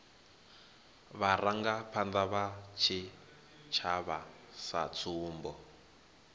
vharangaphanda vha tshitshavha sa tsumbo